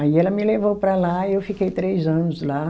Aí ela me levou para lá e eu fiquei três anos lá.